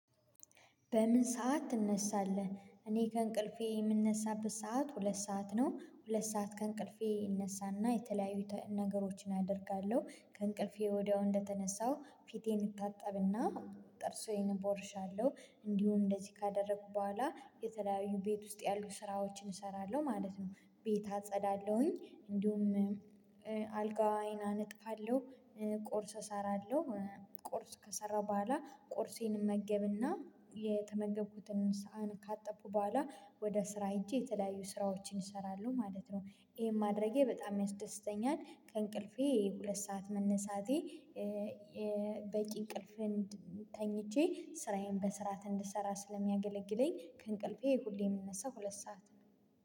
በምን ሰዓት ትነሳለህ? እኔ ከእንቅልፌ የምንነሳበት ሰዓት ሁለት ሰዓት ነው። ሁለት ሰዓት ከእንቅልፌ እነሳና የተለያዩ ነገሮችን አደርጋለሁ ከእንቅልፌ ወዲያው እንደተነሳው ፊቴን እታጠብና። ጥርሴን እቦርሻለሁ እንዲሁም እንደዚህ ካደረኩ በኋላ የተለያዩ ቤት ውስጥ ያሉ ስራዎችን እሰራለሁ ማለት ነው። ቤት አጸዳለሁኝ እንዲሁም አልጋየን አነጥፋለሁ። ቁርስ እሰራለሁ ቁርስ ከሰራሁ በኋላ ቁርሴን እመገብና የተመገብኩትን ሳሀን ካጠብኩ በኋላ ወደ ስራ ሄጄ የተለያዩ ስራዎችን እሰራለሁ ማለት ነው። ይሄን ማድረጌ በጣም ያስደስተኛል ከእንቅልፌ ሁለት ሰዓት መነሳቴ። በቂ እንቅልፍን ተኝቼ ስራዬን በስርዓት እንድሰራ ስለሚያገለግለኝ ከእንቅልፌ ሁሌ የምነሳ ሁለት ሰዓት ነው